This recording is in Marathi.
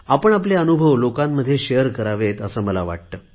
आपण आपले अनुभव लोकांमध्ये शेअर करावेत असे मला वाटते